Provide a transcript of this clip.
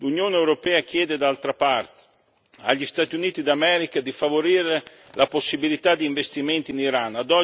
L'Unione europea chiede d'altra parte agli Stati Uniti d'America di favorire la possibilità di investimenti in Iran